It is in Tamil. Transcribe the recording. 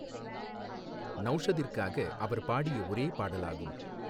நௌஷதிற்காக அவர் பாடிய ஒரே பாடலாகும்.